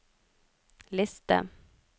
liste